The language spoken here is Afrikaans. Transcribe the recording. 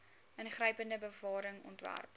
ingrypende bewaring ontwerp